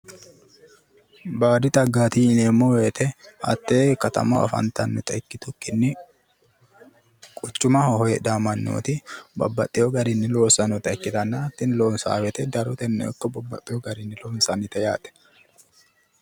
baadi xaggaati yineemmo woyiite hattee katamaho afantaata ikitukkinni quchumaho heedhaa mannooti baxewo garinni loossannota ikkitanna tini loossa wote daroteno ikko bbbaxxewo garinni loonsannite yaate.